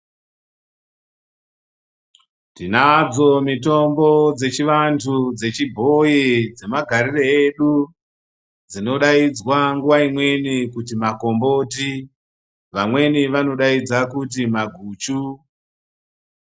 Tinadzo mitombo dzechivantu, dzechibhoyi, dzemagarire edu, dzinodaidzva nguwa imweni kuti makomboti. Vamweni vanodaidza kuti maguchu.